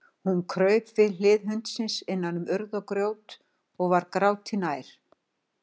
Hún kraup við hlið hundsins innan um urð og grjót og var gráti nær.